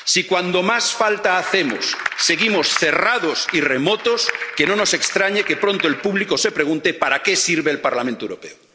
Si, cuando más falta hacemos, seguimos cerrados y remotos, que no nos extrañe que pronto el público se pregunte para qué sirve el Parlamento Europeo.